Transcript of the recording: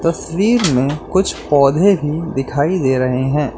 तस्वीर में कुछ पौधे भी दिखाई दे रहे हैं।